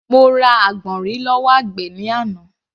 Mo ra àgbọ̀nrìn lọ́wọ́ àgbẹ̀ ní àná.